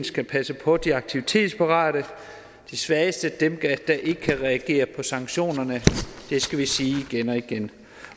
skal passe på de aktivitetsparate de svageste dem der ikke kan reagere på sanktionerne det skal vi sige igen